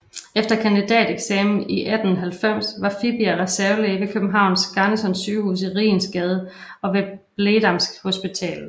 Efter kandidateksamen i 1890 var Fibiger reservelæge ved Københavns Garnisons Sygehus i Rigensgade og ved Blegdamshospitalet